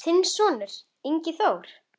Þinn sonur, Ingi Þór.